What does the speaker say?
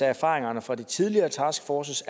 erfaringerne fra de tidligere taskforces